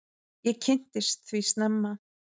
Ég kynntist því snemma.